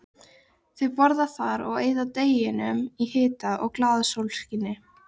Þau borða þar og eyða deginum í hita og glaðasólskini.